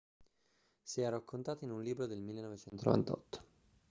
si è raccontato in un libro del 1998